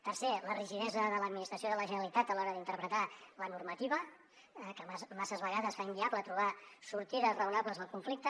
tercer la rigidesa de l’administració de la generalitat a l’hora d’interpretar la normativa que masses vegades fa inviable trobar sortides raonables al conflicte